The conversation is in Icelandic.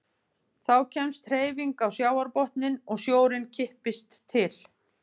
Þá kemst hreyfing á sjávarbotninn og sjórinn kippist til.